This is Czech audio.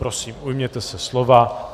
Prosím, ujměte se slova.